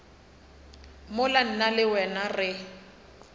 mola nna le wena re